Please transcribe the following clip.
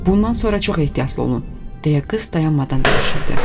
Bundan sonra çox ehtiyatlı olun, deyə qız dayanmadan danışırdı.